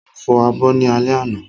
Mo fọ abọ́ ní alẹ́ àná